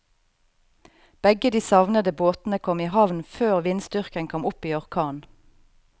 Begge de savnede båtene kom i havn før vindstyrken kom opp i orkan.